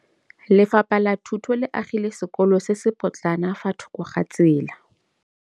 Lefapha la Thuto le agile sekôlô se se pôtlana fa thoko ga tsela.